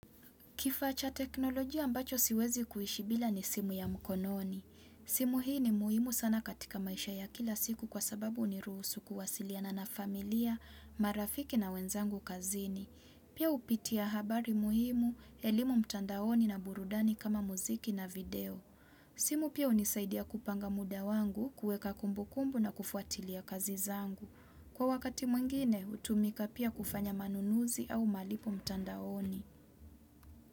Kifaa cha teknolojia ambacho siwezi kuishi bila ni simu ya mkononi. Simu hii ni muhimu sana katika maisha ya kila siku kwa sababu huniruhusu kuwasiliana na familia, marafiki na wenzangu kazini. Pia hupitia habari muhimu, elimu mtandaoni na burudani kama muziki na video. Simu pia hunisaidia kupanga muda wangu, kuweka kumbukumbu na kufuatilia kazi zangu. Kwa wakati mwingine, hutumika pia kufanya manunuzi au malipo mtandaoni.